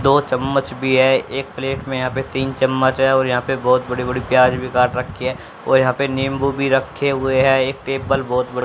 दो चम्मच भी है एक प्लेट में यहां पे तीन चम्मच है और यहां पे बहोत बड़ी बड़ी प्याज भी काट रखी है और यहां पे नींबू भी रखे हुए हैं एक टेबल बहोत बड़े --